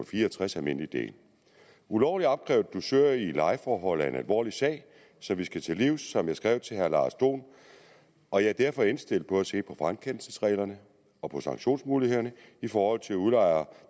fire og tres almindelig del ulovligt opkrævet dusør i lejeforhold er en alvorlig sag som vi skal til livs som jeg skrev til herre lars dohn og jeg er derfor indstillet på at se på frakendelsesreglerne og på sanktionsmulighederne i forhold til udlejere